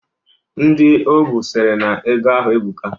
Ndị o bu sịrị na ego ahụ ebuka.